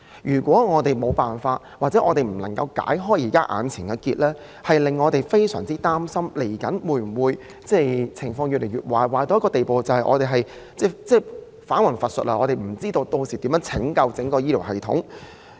如果政府無法解開目前的死結，我們便會非常擔心未來的情況會否惡化至返魂乏術的地步，以致我們皆不知道該如何拯救整個醫療系統。